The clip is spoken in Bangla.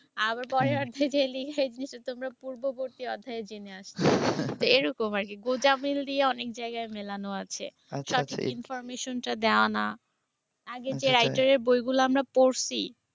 আবার পরের অধ্যায় যেয়ে লিখে যে তোমরা পূর্ববর্তী অধ্যায়ে জেনে আসছ। তো এইরকম আর কি। গোঁজামিল দিয়ে অনেক জায়গায় মেলানো আছে। সঠিক information টা দেওয়া নাই। আগে যে writer এর বইগুলা আমরা পড়সি